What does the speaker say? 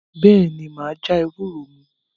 Bẹ́ẹ̀ ni, mà á já ewúro mu.